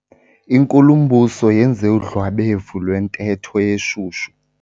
Inkulumbuso yenze udlwabevu lwentetho eshushu.